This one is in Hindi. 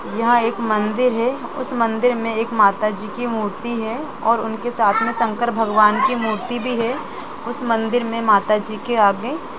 यहां एक मंदिर है उसे मंदिर में एक माताजी की मूर्ति है और उनके साथ में शंकर भगवान की मूर्ति भी है उसे मंदिर में माताजी के आगे--